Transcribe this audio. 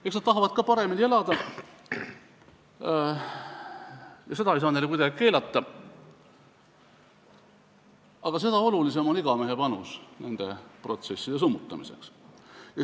Eks nad tahavad ka paremini elada ja seda ei saa neile kuidagi keelata, aga seda olulisem on igamehe panus nende protsesside summutamiseks.